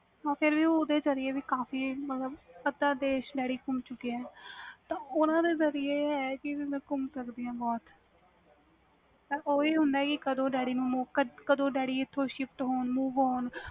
ਫਿਰ ਵੀ ਓਹਦੇ ਜਰੀਏ ਵੀ ਕਾਫੀ ਮਤਬਲ ਅੱਧਾ ਦੇਸ ਸ਼ਹਿਰ ਗੁਮ ਚੁਕੀ ਵ ਤਾ ਓਹਨੇ ਤੇ ਜਰਿਏ ਗੁਮ ਸਕਦੀ ਆ ਬਹੁਤ ਤਾ ਹੁੰਦਾ ਵ ਕਦੋ ਡੈਡੀ ਇਥੋਂ shift ਹੋਣ ਗੇ